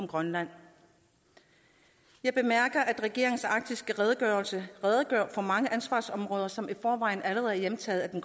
grønland jeg bemærker at regeringens arktiske redegørelse redegør for mange ansvarsområder som i forvejen allerede er hjemtaget af